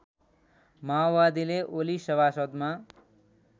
माओवादीले ओली सभासदमा